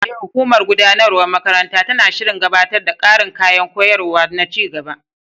E, hukumar gudanarwar makarantar tana shirin gabatar da ƙarin kayan koyarwa na ci gaba.